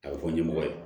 A bɛ fɔ ɲɛmɔgɔ ye